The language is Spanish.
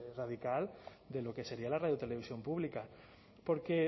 radical de lo que sería la radio televisión pública porque